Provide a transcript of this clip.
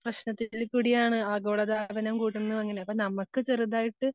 പ്രശ്നത്തിൽ കൂടിയാണ് ആഗോളതാപനം കൂടുന്നു അങ്ങനെ. അപ്പം നമുക്ക് ചെറുതായിട്ട്